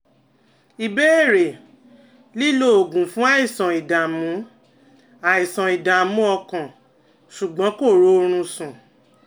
Ìbéèrè: Lílo oògùn fún àìsàn ìdààmú àìsàn ìdààmú ọkàn, ṣùgbọ́n kò rórun sùn